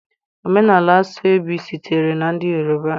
Omenala Aso-Ebi sitere na ndị Yoruba.